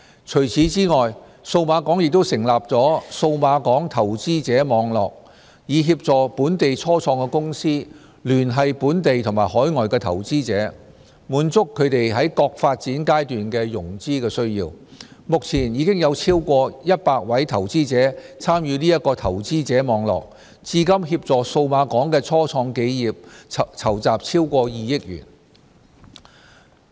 除此之外，數碼港亦成立了"數碼港投資者網絡"，以協助本地初創公司聯繫本地及海外的投資者，滿足它們在各發展階段的融資需要，目前已有超過100位投資者參與這個投資者網絡，至今協助數碼港的初創企業籌集超過2億元。